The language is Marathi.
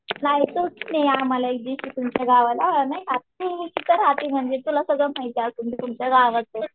जायचं आहे एकेदिवशी आम्हाला तुमच्या गावाला नाही का, तू तिथे राहते म्हणजे तुला सगळं माहीतच असलं ते तुमचं गाव आहे म्हणजे.